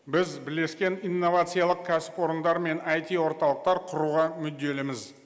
біз бірлескен инновациялық кәсіпорындар мен айти орталықтар құруға мүдделіміз